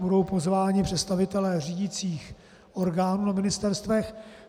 Budou pozváni představitelé řídicích orgánů na ministerstvech.